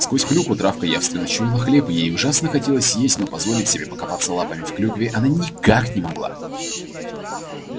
сквозь клюкву травка явственно чуяла хлеб и ей ужасно хотелось есть но позволить себе покопаться лапами в клюкве она никак не могла